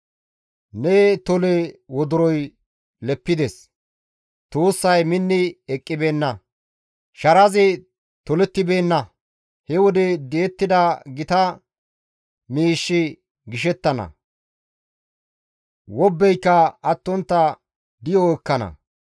Ne tole wodoroy leppides; tuussay minni eqqibeenna; sharazi tolettibeenna; he wode di7ettida gita miishshi gishettana; wobbeyka attontta di7o ekkana.